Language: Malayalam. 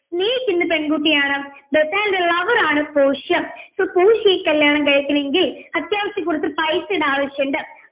സ്നേഹിക്കുന്ന പെൺകുട്ടിയാണ് ബസ്സാനിയോയുടെ lover ആണ് പോർഷ്യ so പോർഷ്യയെ കല്യാണം കഴിക്കണമെങ്കിൽ അത്യാവശ്യം കുറച്ച പൈസയുടെ ആവിശ്യമുണ്ട്